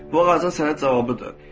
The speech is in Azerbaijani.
Bu ağacın sənə cavabıdır.